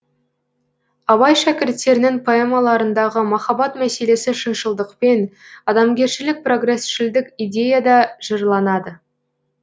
абай шәкірттерінің поэмаларындағы махаббат мәселесі шыншылдықпен адамгершілік прогресшілдік идеяда жырланады